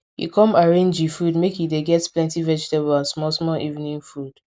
he come arrange e food make e dey get plenty vegetables and small small evening food